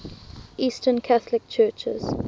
eastern catholic churches